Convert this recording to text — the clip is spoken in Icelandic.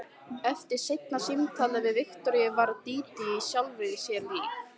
Eftir seinna símtalið við Viktoríu varð Dídí sjálfri sér lík.